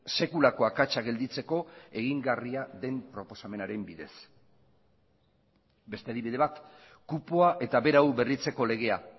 sekulako akatsa gelditzeko egingarria den proposamenaren bidez beste adibide bat kupoa eta berau berritzeko legea